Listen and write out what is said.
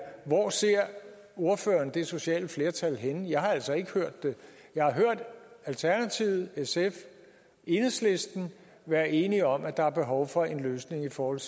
hvor ordføreren ser det sociale flertal herinde jeg har altså ikke hørt det jeg har hørt alternativet sf og enhedslisten være enige om at der er behov for en løsning i forhold